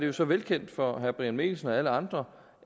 jo så velkendt for herre brian mikkelsen og alle andre